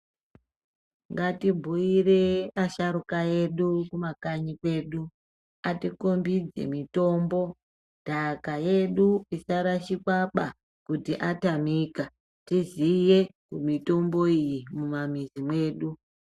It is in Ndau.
Ngatibhuire asharuka edu kumakanyi kwedu ati kombidze mitombo ndaka yedu isarashikwaba kuti atanika tiziye mitombo iyi mumamizi medu.